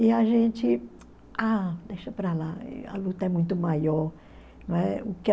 E a gente, ah, deixa para lá, a luta é muito maior. Né?